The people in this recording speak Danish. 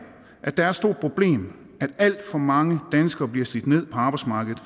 at det er et stort problem at alt for mange danskere bliver slidt ned på arbejdsmarkedet